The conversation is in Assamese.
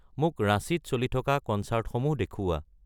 মোক ৰাঁচীত চলি থকা ক'নচাৰ্টসমূহ দেখুওৱা